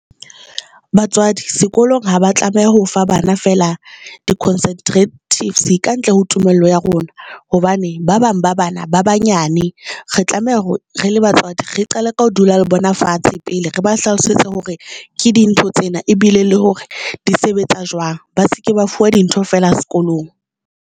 Batswadi sekolong ha ba tlameha ho fa bana feela di-contraceptive kantle ho tumello ya rona hobane ba bang ba bana ba banyane, re tlameha hore re le batswadi, re qale ka ho dula le bona fatshe pele re ba hlalosetse hore ke eng dintho tsena ebile le hore di sebetsa jwang. Ba seke ba fuwa dintho fela sekolong.